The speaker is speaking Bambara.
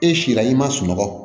E si la i man sunɔgɔ